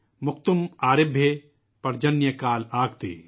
موکتم آرے بھے، پرجنیہ کال آگتے||